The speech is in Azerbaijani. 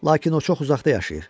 Lakin o çox uzaqda yaşayır.